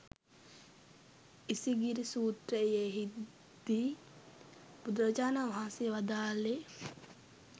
ඉසිගිලි සූත්‍රයෙහිදී බුදුරජාණන් වහන්සේ වදාළේ